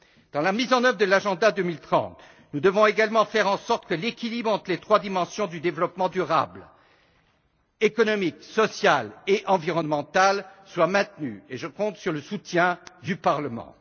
Dans la mise en œuvre de l'agenda 2030, nous devons également faire en sorte que l'équilibre entre les trois dimensions du développement durable économique, sociale et environnementale soient maintenues et je compte sur le soutien du Parlement.